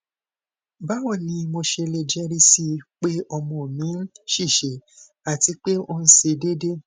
bawo ni mo ṣe le jẹrisi pe ọmọ mi nṣiṣẹ ati pe onse deede